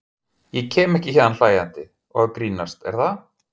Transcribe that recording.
Ég kem ekki héðan hlæjandi og að grínast, er það?